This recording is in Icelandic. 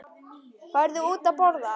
Farðu út að borða.